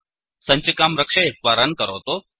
सञ्चिकां रक्षयित्वा रन् करोतु